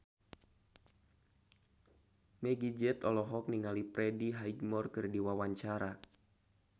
Meggie Z olohok ningali Freddie Highmore keur diwawancara